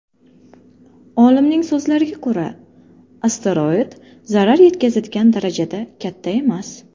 Olimning so‘zlariga ko‘ra, asteroid zarar yetkazadigan darajada katta emas.